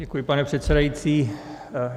Děkuji, pane předsedající.